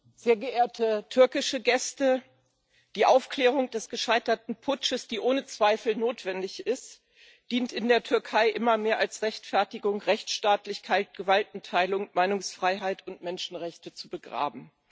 Frau Präsidentin, sehr geehrte türkische Gäste! Die Aufklärung des gescheiterten Putsches, die ohne Zweifel notwendig ist, dient in der Türkei immer mehr als Rechtfertigung dafür, Rechtsstaatlichkeit, Gewaltenteilung, Meinungsfreiheit und Menschenrechte zu begraben.